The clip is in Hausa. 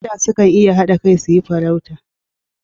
Kada sukan iya hada kai su yi farauta